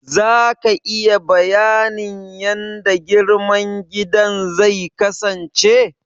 Za ka iya bayanin yanda girman gidan zai kasance?